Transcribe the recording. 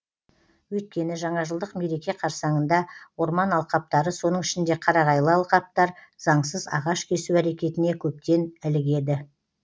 өйткені жаңажылдық мереке қарсаңында орман алқаптары соның ішінде қарағайлы алқаптар заңсыз ағаш кесу әрекетіне көптен ілігеді